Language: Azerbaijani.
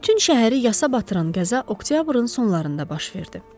Bütün şəhəri yasa batıran qəza oktyabrın sonlarında baş verdi.